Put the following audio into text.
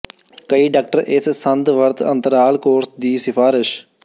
ਕਈ ਡਾਕਟਰ ਇਸ ਸੰਦ ਵਰਤ ਅੰਤਰਾਲ ਕੋਰਸ ਦੀ ਸਿਫਾਰਸ਼